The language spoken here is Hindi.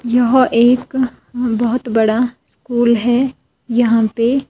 यह एक बहुत बड़ा स्कूल है यहां पे--